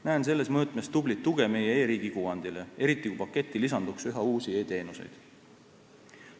Näen selles mõõtmes tublit tuge meie e-riigi kuvandile, eriti kui paketti lisanduks üha uusi e-teenuseid.